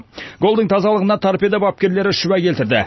голдың тазалығына торпедо бапкерлері шүбә келтірді